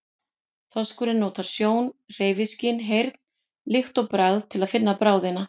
Þorskurinn notar sjón, hreyfiskyn, heyrn, lykt og bragð til að finna bráðina.